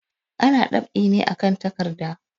Ana dab'i ne akan takarda.